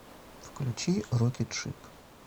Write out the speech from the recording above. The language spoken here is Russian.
включи рокет шип